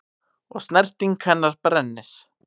Og snerting hennar brennir.